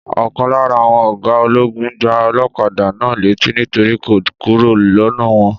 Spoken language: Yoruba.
Ọ̀kan lára àwọn ọ̀gá ológun gbà olókadà náà létí nítorí kò kúrò lọnà wọn